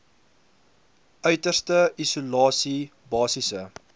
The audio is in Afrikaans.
uiterste isolasie basiese